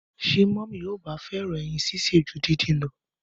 Ṣé mọmi o ba fẹràn ẹyin ṣíṣe ju dindin lọ?